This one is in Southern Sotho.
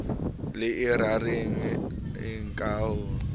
le e raraheneng ka ho